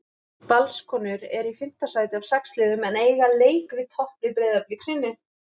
Valskonur eru í fimmta sæti af sex liðum en eiga leik við topplið Breiðabliks inni.